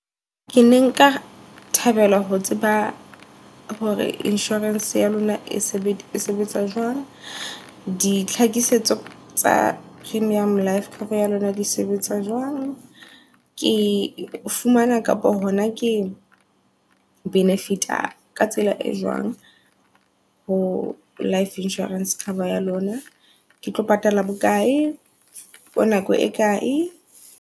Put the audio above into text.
Ke ne nka thabela ho tseba hore insurance ya lona e sebetsa e sebetsa jwang. Ditlhakisetso tsa premium life cover ya lona di sebetsa jwang. Ke e fumana kapa hona ke benefit ka tsela e jwang ho life insurance cover ya lona. Ke tlo patala bokae for nako e kae.